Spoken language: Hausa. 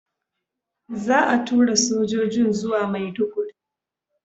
Za a tura sojojin zuwa Maiduguri.